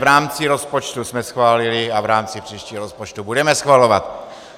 V rámci rozpočtu jsme schválili a v rámci příštího rozpočtu budeme schvalovat.